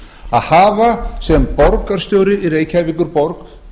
að hafa sem borgarstjóri í reykjavíkurborg